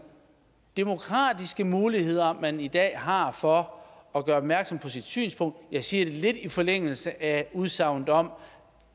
demokratiske muligheder man i dag har for at gøre opmærksom på sit synspunkt jeg siger det lidt i forlængelse af udsagnet om